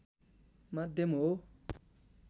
माध्यम हो